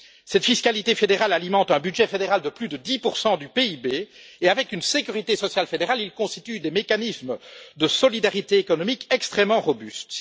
Cette fiscalité fédérale alimente un budget fédéral de plus de 10 du PIB qui, avec une sécurité sociale fédérale, constituent des mécanismes de solidarité économique extrêmement robustes.